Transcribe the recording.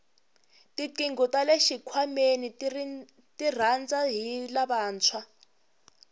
tinqingho tale xikhwameni tirhandza hi lavantshwa